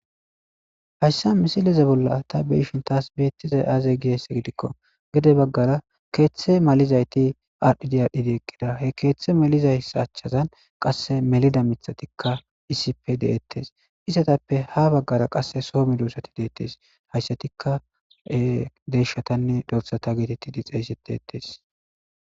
Hayssa misileze bolla ta beishin taas beettizay aaze giesse gidikko gede baggara keeththe malizayti aadhidi aadhdhidi eqqida he keeththe maliza sachazan qasse melida mithatikka isippe deettes isatappe ha baggara qasse soomi duosati deettes hayssatikka deshatanne dorsata getetti di xeeyssetetes.